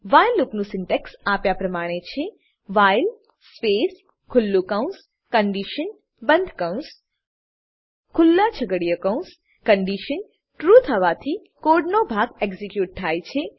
while લૂપનું syntax આપ્યા પ્રમાણે છે વ્હાઇલ સ્પેસ ખુલ્લું કૌંસ કન્ડિશન બંધ કૌંસ ખુલ્લું છગડીયા કૌંસ કન્ડીશન ટ્રૂ થવાથી કોડનો ભાગ એક્ઝીક્યુટ થાય છે